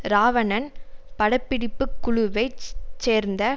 ராவணன் பட பிடிப்பு குழுவை சேர்ந்த